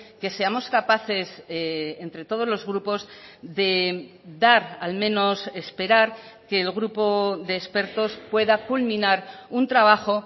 que seamos capaces entre todos los grupos de dar al menos esperar que el grupo de expertos pueda culminar un trabajo